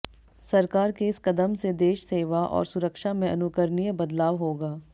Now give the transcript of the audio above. सरकार के इस कदम से देश सेवा और सुरक्षा में अनुकरणीय बदलाव होगा